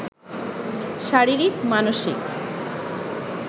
শারীরিক, মানসিক